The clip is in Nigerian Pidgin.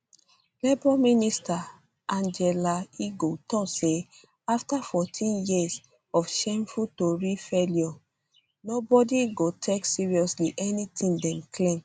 labour minister angela eagle tok say afta 14 years of shameful tory failure nobody go take seriously anything dem claim